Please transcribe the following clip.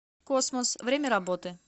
космос время работы